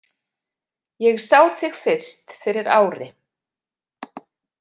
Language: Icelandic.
Ég sá þig fyrst fyrir ári.